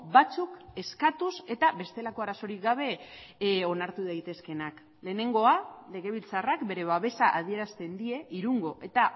batzuk eskatuz eta bestelako arazorik gabe onartu daitezkeenak lehenengoa legebiltzarrak bere babesa adierazten die irungo eta